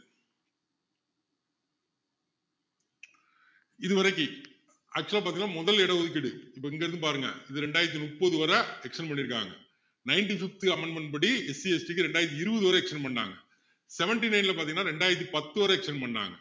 இதுவரைக்கும் actual ஆ பாத்தீங்கன்னா முதல் இடம் ஒதுக்கீடு இப்போ இங்க இருந்து பாருங்க இது ரெண்டாயிரத்து முப்பது வரை extend பண்ணிருக்காங்க ninety-fifth amendment படி SCST க்கு ரெண்டாயிரத்து இருபது வரை extend பண்ணினாங்க seventy-nine ல பாத்திங்கன்னா ரெண்டாயிரத்து பத்து வரை extend பண்ணினாங்க